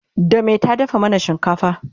da me ta dafa mana shinkafa?